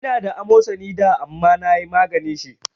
Ina da amosali da amma nayi maganin shi